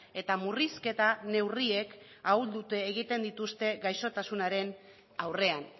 eta murrizketa neurriek ahuldu egiten dituzte gaixotasunaren aurrean